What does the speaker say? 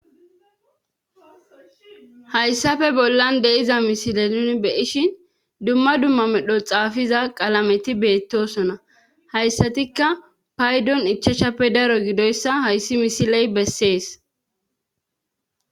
hayssafe bollan deiza misile nuni beyishin dumma dumma medho xaafiza qalameti beettosona hayssatikka paydon ichashappe daro gidoyssa hayssi misiley bessees